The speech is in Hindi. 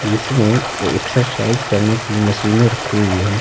इसमें एक्सरसाइज करने की मशीन रखी हुई है।